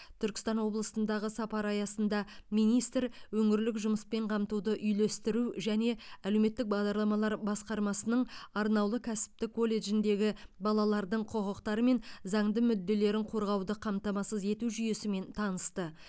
түркістан облысындағы сапары аясында министр өңірлік жұмыспен қамтуды үйлестіру және әлеуметтік бағдарламалар басқармасының арнаулы кәсіптік колледжіндегі балалардың құқықтары мен заңды мүдделерін қорғауды қамтамасыз ету жүйесімен танысты